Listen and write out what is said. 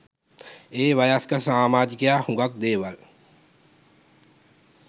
ඒ වයස්ගත සාමාජිකයා හුඟක් දේවල්